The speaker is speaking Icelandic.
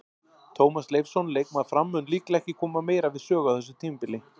Tómas Leifsson, leikmaður Fram, mun líklega ekki koma meira við sögu á þessu tímabili.